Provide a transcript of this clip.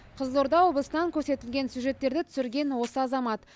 қызылорда облысынан көрсетілген сюжеттерді түсірген осы азамат